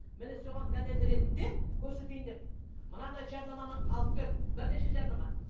міне соған дәлел ретінде көрсетейін деп мынадай жарнаманы алып келдім бірнеше жарнама